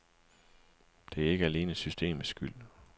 Det er ikke alene systemets skyld.